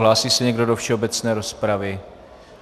Hlásí se někdo do všeobecné rozpravy?